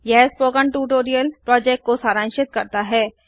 यह spoken tutorial project को सारांशित करता है